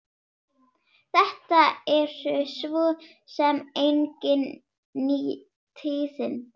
Þetta eru svo sem engin ný tíðindi.